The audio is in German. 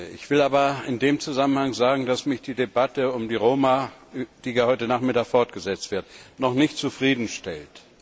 Ich will aber in dem Zusammenhang sagen, dass mich die Debatte um die Roma, die ja heute Nachmittag fortgesetzt wird, noch nicht zufriedenstellt.